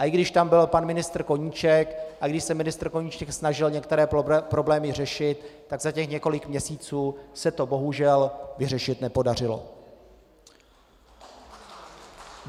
A i když tam byl pan ministr Koníček, i když se ministr Koníček snažil některé problémy řešit, tak za těch několik měsíců se to bohužel vyřešit nepodařilo.